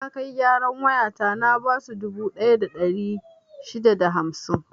Na kai gyaran wayata na basu dubu ɗaya da ɗari shida da hamsin.